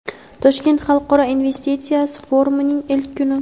Toshkent xalqaro investitsiya forumining ilk kuni.